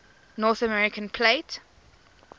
north american plate